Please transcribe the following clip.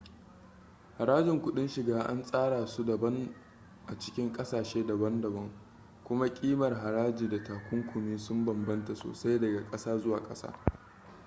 harajin kuɗin shiga an tsara su daban a cikin ƙasashe daban-daban kuma ƙimar haraji da takunkumi sun bambanta sosai daga ƙasa zuwa ƙasa